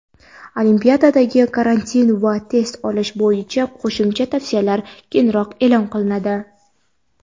Olimpiadadagi karantin va test olish bo‘yicha qo‘shimcha tavsiyalar keyinroq e’lon qilinadi.